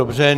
Dobře.